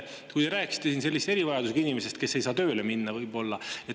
Te rääkisite siin erivajadusega inimesest, kes ei saa võib-olla tööle minna.